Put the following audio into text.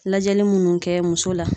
Lajɛli minnu kɛ muso la.